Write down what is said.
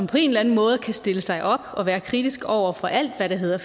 på en eller anden måde kan stille sig op og være kritiske over for alt hvad der hedder